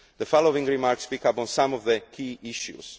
report. The following remarks pick up on some of the